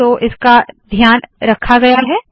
तो इसका ध्यान रखा गया है